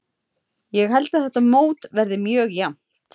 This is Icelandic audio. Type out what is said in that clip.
Ég held að þetta mót verði mjög jafnt.